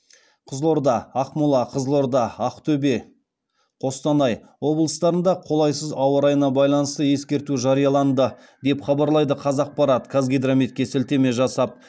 қызылорда ақмола қызылорда ақтөбе қостанай облыстарында қолайсыз ауа райына байланысты ескерту жарияланды деп хабарлайды қазақпарт қазгидрометке сілтеме жасап